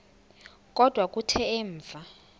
kodwa kuthe emva